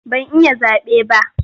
Ban yi zaɓe ba.